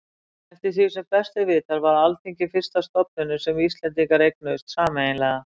Eftir því sem best er vitað var Alþingi fyrsta stofnunin sem Íslendingar eignuðust sameiginlega.